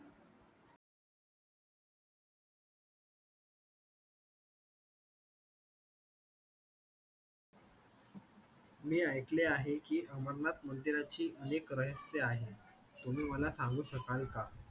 मी ऐकले आहे की, अमरनाथ मंदिराची अनेक रहस्य आहेत. तुम्ही मला सांगू शकाल का?